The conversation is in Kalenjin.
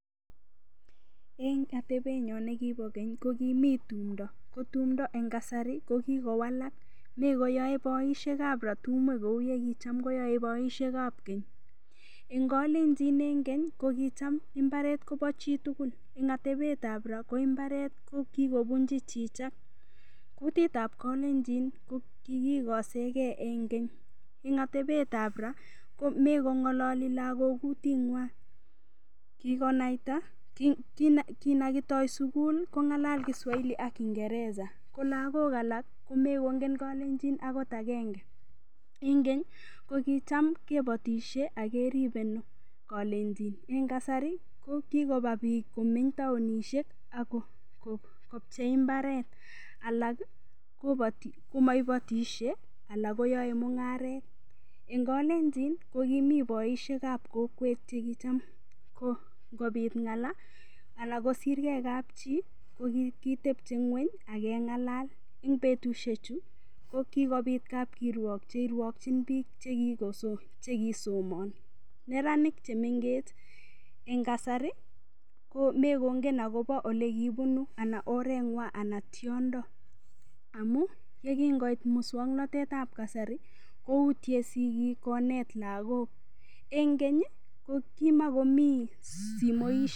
Eng otebenyo nekibo keny kokomi tundo ko tumdo eng kasari mekoyoe boishekab ra tumwek kou tukyekiyoe boishekab keny eng kalenjin ing keny ko kocham mbaret kobo chitugul eng atebetab ra ko mbaret kokikobunchi chicha kutitab kalenjin kikikosegei eng keny eng atebetab ra komekong'ololi lagok kuting'wai kinakitoi sukul kong'alal kiswahili ak kingereza ko lagok alak komakongen kalenjin okot agenge ing keny ko kicham kebotishe akeribei nee eng kasari komeny taonishek akopchei imbaret alak komaibatishei anan koyoe mung'aret eng kalenjin kokimii boishekab kokwet chekicham ngopit ng'ala anan kosirgei kapchii kokikitepchei ng'weny akeng'alal betushechu kokikopit kapkirwok cheirwakchin piik chekikosomon neranik chemengech eng kasari komekongen ole kopuni anan oreng'wai anan tiondo ako yekingoit mosong'natetab kasari koutye sikik konet lagok eng keny kokimalomii simoishek